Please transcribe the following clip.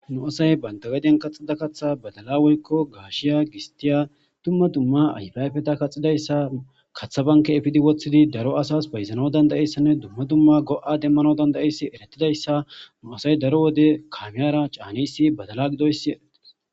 nu asay bantagadiyan kaxida kaththa badala woykko gaashiya gistiya tumma dumma ayfayfeta kaxidayssa katha banke efidi woththidi daro asas bayzano dandayeyssanne dumma dumma go7a demmano dandayeyssi eretidayssa nu asay daro wode kaamiyara caanisi badala gidoyssi